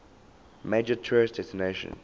major tourist destination